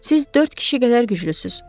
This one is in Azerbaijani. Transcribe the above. Siz dörd kişi qədər güclüsüz.